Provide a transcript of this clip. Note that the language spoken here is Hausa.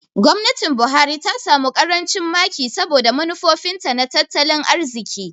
Gwamnatin Buhari ta samu ƙarancin maki saboda manufofinta na tattalin arziki.